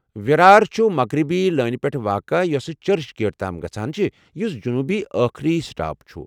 وِرار چھٗ مغربی لٲنہِ پٮ۪ٹھ واقع یۄسہٕ چرچ گیٹ تام گژھان چھےٚ ، یُس جنوبی ٲخری سٹاپ چھُ ۔